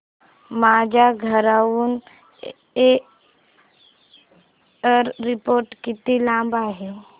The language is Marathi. माझ्या घराहून एअरपोर्ट किती लांब आहे